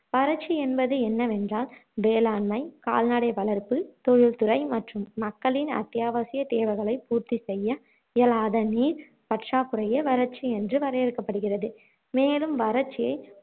வறட்சி என்பது என்னவென்றால் வேளாண்மை கால்நடை வளர்ப்பு தொழில் துறை மற்றும் மக்களின் அத்தியாவசியத் தேவைகளை பூர்த்தி செய்ய இயலாத நீர் பற்றாக்குறையே வறட்சி என்று வரையறுக்கப்படுகிறது மேலும் வறட்சியை